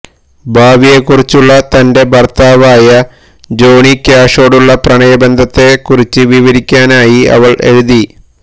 ഭാവിയെക്കുറിച്ചുള്ള തന്റെ ഭർത്താവായ ജോണി ക്യാഷോടുള്ള പ്രണയബന്ധത്തെക്കുറിച്ച് വിവരിക്കാനായി അവൾ എഴുതി